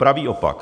Pravý opak.